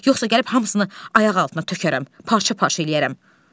Yoxsa gəlib hamısını ayaq altına tökərəm, parça-parça eləyərəm.